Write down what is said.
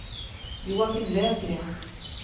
Joakim Lövgren